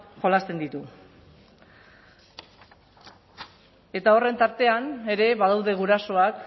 jolasten ditu eta horren tartean ere badaude gurasoak